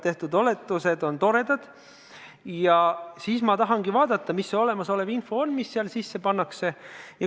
Kuid sellisel juhul tahan ma vaadata, mis see olemasolev info on, mis oletuse sisse pannakse.